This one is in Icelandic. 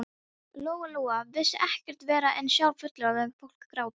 Lóa-Lóa vissi ekkert verra en að sjá fullorðið fólk gráta.